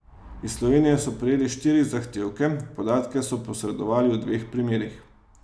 Iz Slovenije so prejeli štiri zahtevke, podatke so posredovali v dveh primerih.